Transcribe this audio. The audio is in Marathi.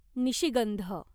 निशिगंध